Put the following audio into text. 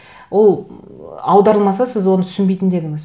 ол аударылмаса сіз оны түсінбейтін де едіңіз